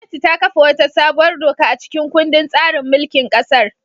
Gwamnati ta kafa wata sabuwar doka a cikin kundin tsarin mulkin kasar.